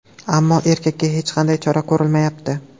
Ammo erkakka hech qanday chora ko‘rilmayapti.